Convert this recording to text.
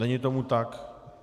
Není tomu tak.